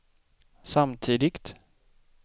samtidigt